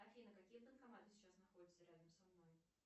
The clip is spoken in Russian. афина какие банкоматы сейчас находятся рядом со мной